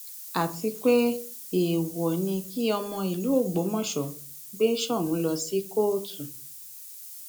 àti pé èèwọ ni kí ọmọ ìlú ògbómọṣọ gbé soun lọ sí kóòtù